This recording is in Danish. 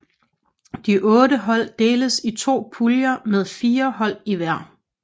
De otte hold deles i to puljer med fire hold i hver